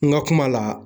N ka kuma la